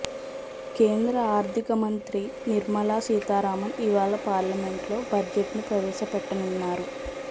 కేంద్ర ఆర్థిక మంత్రి నిర్మలా సీతారామన్ ఇవాళ పార్లమెంట్లో బడ్జెట్ను ప్రవేశపెట్టనున్నారు